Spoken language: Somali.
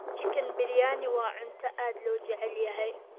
Chicken biryani waa cunto aad loo jecel yahay.